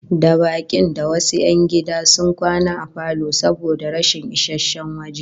Da bakin da wasu 'yan gida sun kwana a falo saboda rashin isasshen waje